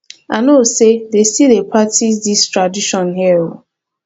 i no know say dey still dey practice dis tradition here oo